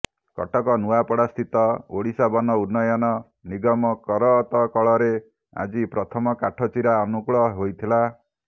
କଟକ ନୂଆପଡାସ୍ଥିତ ଓଡ଼ିଶା ବନ ଉନ୍ନୟନ ନିଗମ କରତକଳରେ ଆଜି ପ୍ରଥମ କାଠ ଚିରା ଅନୁକୂଳ ହୋଇଥିଲା